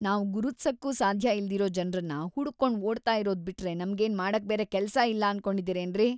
ನಾವ್ ಗುರುತ್ಸಕ್ಕೂ ಸಾಧ್ಯ ಇಲ್ದಿರೋ ಜನ್ರನ್ನ ಹುಡುಕ್ಕೊಂಡ್ ಓಡ್ತಾ ಇರೋದ್‌ ಬಿಟ್ರೆ ನಮ್ಗೇನ್ ಮಾಡಕ್ಬೇರೆ ಕೆಲ್ಸ ಇಲ್ಲ ಅನ್ಕೊಂಡಿದೀರೇನ್ರಿ?!